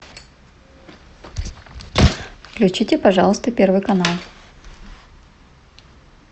включите пожалуйста первый канал